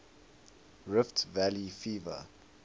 rift valley fever